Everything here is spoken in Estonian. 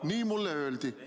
Nii mulle öeldi.